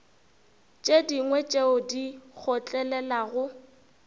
tše dingwe tše di kgotlelelago